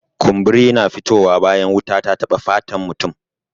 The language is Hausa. Kumburi na fito wa bayan wuta ta taɓa fatan mutum